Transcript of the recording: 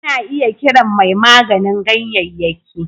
Ana iya kiran mai maganin ganyayyaki